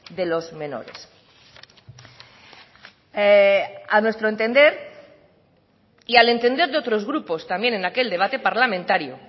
de los menores a nuestro entender y al entender de otros grupos también en aquel debate parlamentario